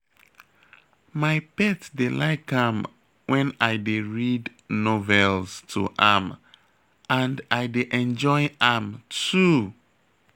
My pet dey like am wen I dey read novels to am and I dey enjoy am too